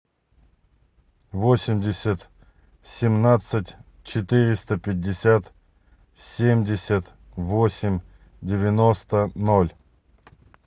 восемьдесят семнадцать четыреста пятьдесят семьдесят восемь девяносто ноль